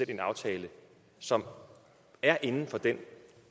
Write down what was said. i en aftale som er inden for den